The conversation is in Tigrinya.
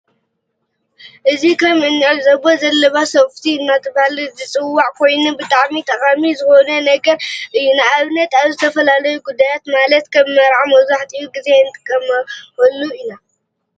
እዚ ከም እንዕዘቦ ዘለባ ሶፎቲ እናተባሀለ ዝፀዋዕ ኮይኑ ብጣዕሚ ጠቃሚ ዝኮነ ነገር እዩ። ንአብነት አብ ዝተፈላለዩ ጉዳያት ማለተ ከም መርዓ መብዛሕቲኡ ግዜ እንጥወመሉ ኢና።